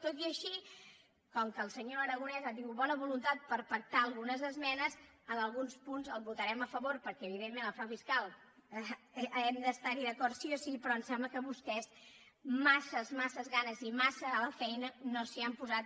tot i així com que el senyor aragonès ha tingut bona voluntat per pactar algunes esmenes en alguns punts hi votarem a favor perquè evidentment contra el frau fiscal hem d’estar·hi d’acord sí o sí però em sembla que vostès massa massa ganes i massa a la feina no s’hi han posat